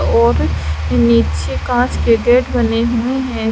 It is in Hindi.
और नीचे कांच के गेट बने हुए हैं।